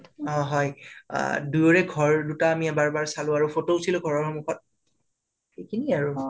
অ হয় অ দুয়োৰে ঘৰ দুটা আমি এবাৰ এবাৰ চালোঁ আৰু photo উথিলো ঘৰৰ সন্মুখত সেইখিনিএ আৰু